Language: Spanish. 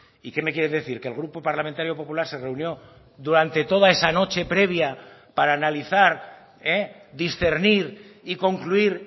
y qué me quiere decir que el grupo parlamentario popular se reunió durante toda esa noche previa para analizar discernir y concluir